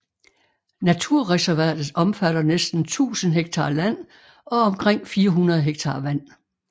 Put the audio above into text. Naturreservatet omfatter næsten 1000 ha land og omkring 400 ha vand